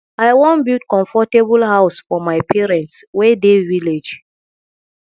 i wan build comfortable house for my parents wey dey village